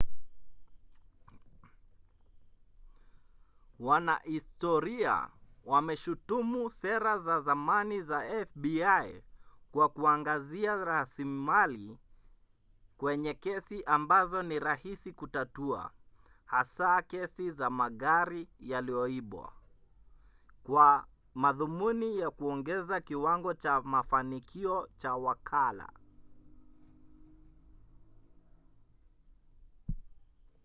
wanahistoria wameshutumu sera za zamani za fbi kwa kuangazia rasilimali kwenye kesi ambazo ni rahisi kutatua hasa kesi za magari yaliyoibwa kwa madhumuni ya kuongeza kiwango cha mafanikio cha wakala